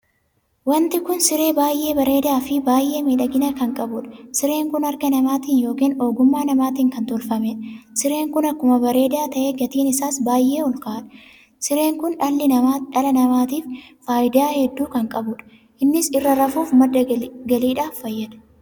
Wanti kun siree baay'ee bareedaa Fi baay'ee miidhagina kan qabuudha. sireen kun harka namaatiin ykn ogummaa namaatiin kan tolfameedha. sireen kun akkuma bareedaa tahe gatiin isaas baay'ee olkaa'adha. siree kun dhala namaatiif faayidaa hedduu kan qabudha. innis irra rafuuf madda galiidhaaf fayyada.